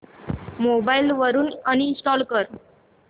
mobile वरून uninstall कर